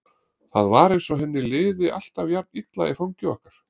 Það var eins og henni liði alltaf jafn illa í fangi okkar.